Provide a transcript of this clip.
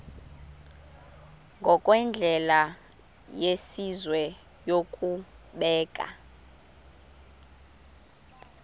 ngokwendlela yesizwe yokubeka